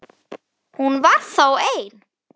Hún var þá ein!